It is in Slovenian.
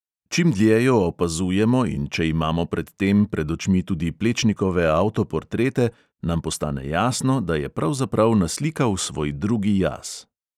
Čim dlje jo opazujemo in če imamo pred tem pred očmi tudi plečnikove avtoportrete, nam postane jasno, da je pravzaprav naslikal svoj drugi jaz.